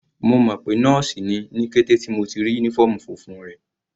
Mo mọ̀ pé nọ́ọ̀sì ni ní kété tí mo ti rí uniform funfun rẹ̀.